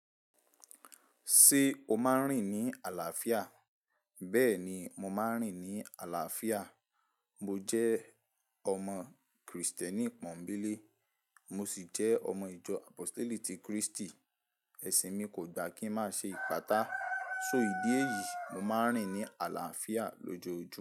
Ṣé o máa ń rìn ní àlàáfíà? Bẹ́ẹ̀ni mo máa ń rìn ní àlàáfíà. Mo jẹ́ ọmọ Krìstẹ́nì pọ́nńbélé, mo sì jẹ́ ọmọ ìjọ Àpóstélì ti Krístì. Ẹ̀sìn mi kò gbà kí n má ṣe ìpátá. So ìdí èyí, mo máa ń rìn ní àlàáfíà lójoojúmọ́